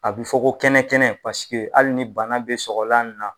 A bɛ fɔ ko kɛnɛ kɛnɛ paseke hali ni bana bɛ sɔgɔlan ni na.